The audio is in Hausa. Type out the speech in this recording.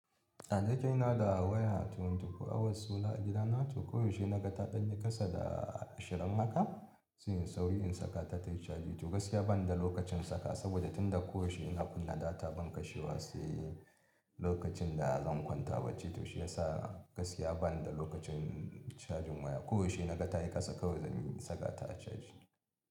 Da nake ina da waya twenty four hours solar a gida na to koyaushe na ga ta ɗan yi kasa da ashirin haka, sai inyi sauri in saka ta tayi caji to gaskiya bani da lokacin sakawa saboda tunda koyaushe ina kunna data ban kashewa sai lokacin da zan kwanta bacci to shi ya sa gaskiya bani da lokacin cajin waya. Koyaushe na ga ta yi kasa kawai zan yi saka ta a caji.